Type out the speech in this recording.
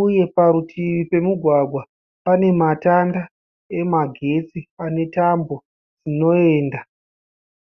uye parutivi pemugwagwa pane matanda emagetsi ane tambo dzinoenda.